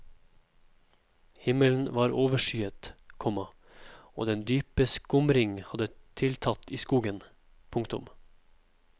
Himmelen var overskyet, komma og den dype skumring hadde tiltatt i skogen. punktum